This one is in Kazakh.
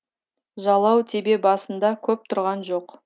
жалау тебе басында көп тұрған жоқ